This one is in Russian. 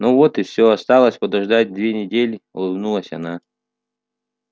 ну вот и всё осталось подождать две недели улыбнулась она